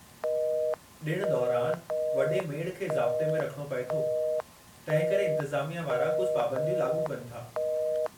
ॾिण दौरानि, वॾे मेड़ु खे ज़ाब्ते में रखिणो पए थो, तंहिं करे इंतिज़ामिया वारा कुझु पाबंदियूं लाॻू कनि था।